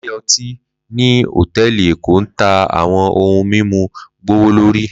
lle ọti ni hotẹẹli Eko n ta awọn ohun mimu gbowolori.